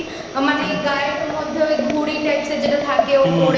মানে গায়ের মধ্যে ওই ঘুড়ি Parachute Types এর যেটা থাকে ওপরে